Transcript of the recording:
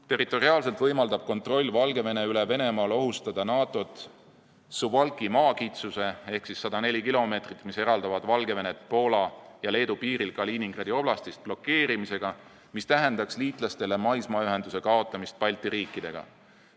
Territoriaalselt võimaldab kontroll Valgevene üle Venemaal ohustada NATO-t Suwalki maakitsuse – 104 kilomeetrit, mis eraldavad Valgevenet Poola ja Leedu piiril Kaliningradi oblastist – blokeerimisega, mis tähendaks liitlastele seda, et kaob maismaaühendus Balti riikidega.